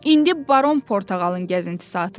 İndi Baron Portağalın gəzinti saatıdır.